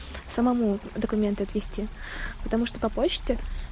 самому документы отвезти потому что по почте